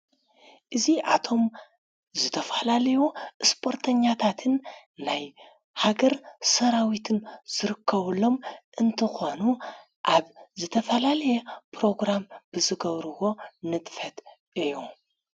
እዙ ኣቶም ዝተፈላልዎ ስፖርተኛታትን ናይ ሃገር ሰራዊትን ዘርከወሎም እንቲኾኑ ኣብ ዘተፋላልየ ጵሮግራም ብዘገብርዎ ንትፈት እዮም::